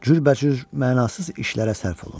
Cürbəcür mənasız işlərə sərf olundu.